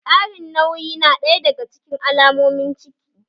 Ƙarin nauyi na ɗaya daga cikin alamomin ciki